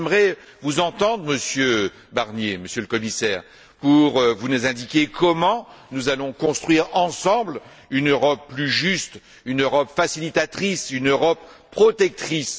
Donc j'aimerais vous entendre, Monsieur Barnier, Monsieur le Commissaire, j'aimerais que vous nous indiquiez comment nous allons construire ensemble une Europe plus juste, une Europe facilitatrice, une Europe protectrice.